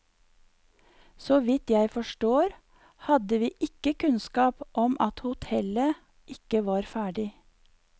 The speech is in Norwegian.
Så vidt jeg forstår, hadde vi ikke kunnskap om at hotellet ikke var ferdig.